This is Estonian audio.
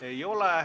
Ei ole.